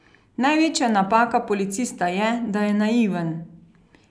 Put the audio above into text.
Največja napaka policista je, da je naiven.